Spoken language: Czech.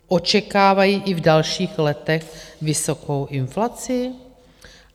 Očekávají i v dalších letech vysokou inflaci?